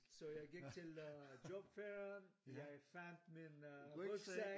Så jeg gik til jobfair jeg fandt min rygsæk